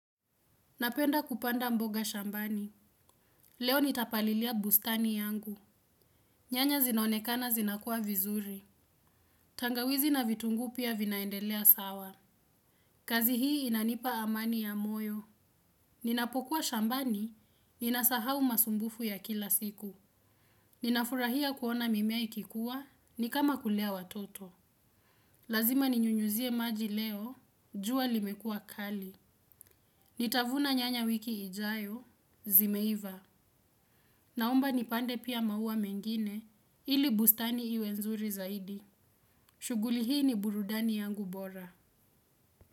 Napenda kupanda mboga shambani. Leo nitapalilia bustani yangu. Nyanya zinaonekana zinakuwa vizuri. Tangawizi na vitungu pia vinaendelea sawa. Kazi hii inanipa amani ya moyo. Ninapokuwa shambani, ninasahau masumbufu ya kila siku. Ninafurahia kuona mimea ikikuwa, ni kama kulea watoto. Lazima ninyunyuzie maji leo, jua limekuwa kali. Nitavuna nyanya wiki ijayo, zimeiva, naomba nipande pia maua mengine ili bustani iwe nzuri zaidi. Shuguli hii ni burudani yangu bora.